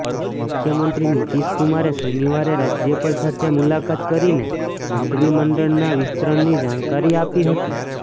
મુખ્યમંત્રી નીતિશ કુમારે શનિવારે રાજ્યપાલ સાથે મુલાકાત કરીને મંત્રીમંડળના વિસ્તરણની જાણકારી આપી હતી